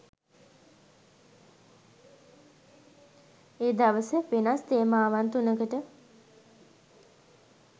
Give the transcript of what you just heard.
ඒ දවස වෙනස් තේමාවන් තුනකට